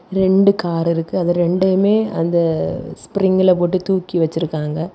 ரெண்டு காரிருக்கு . அது ரெண்டையுமே அந்த ஸ்ப்ரிங்ல போட்டு தூக்கி வெச்சிருக்காங்க.